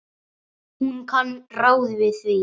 Hún kann ráð við því.